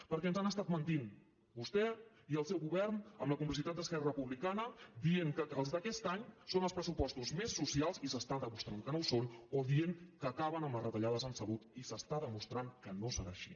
perquè ens han estat mentint vostè i el seu govern amb la complicitat d’esquerra republicana dient que els d’aquest any són els pressupostos més socials i s’està demostrant que no ho són o dient que acaben amb les retallades en salut i s’està demostrant que no serà així